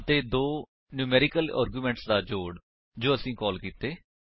ਅਤੇ ਦੋ numeric arguments ਦਾ ਜੋੜ ਜੋ ਅਸੀਂ ਕਾਲ ਕੀਤੇ